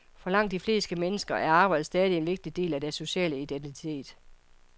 For langt de fleste mennesker er arbejdet stadig en vigtig del af deres sociale identitet.